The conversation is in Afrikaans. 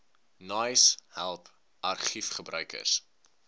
naais help argiefgebruikers